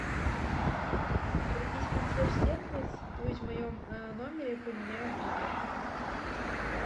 обратись в консьерж сервис пусть в моем номере поменяют белье